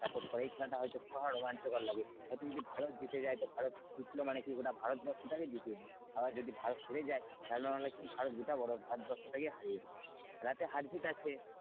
support করে এই খেলাটা হয়তো রোমাঞ্চকর লাগে হয়তো যদি ভারত জিতে যায় তো ভারত জিতল মানে কি গোটা ভারতবর্ষ যেতে এ দিল আবার যদি ভারত হেরে যায় তাহলে মানে কি গোটা ভারত ভারতবর্ষটাকে হারিয়ে দিল খেলাতে হারজিত আছে,